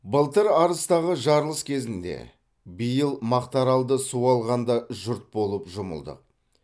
былтыр арыстағы жарылыс кезінде биыл мақтааралды су алғанда жұрт болып жұмылдық